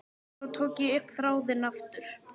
Svo tók ég upp þráðinn aftur.